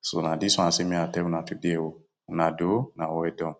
So na dis one I say make I tell una today o. Una doh, una well done.